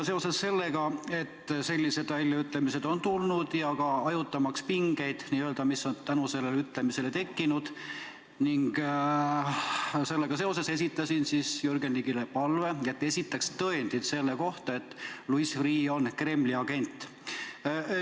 Seoses sellega, et sellised väljaütlemised on tulnud, ja ka hajutamaks pingeid, mis on tänu sellele ütlemisele tekkinud, esitasin Jürgen Ligile palve, et ta esitaks tõendid selle kohta, et Louis Freeh on Kremli agent.